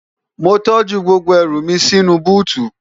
mo tọ́jú gbogbo ẹrù mi sínú u búùtù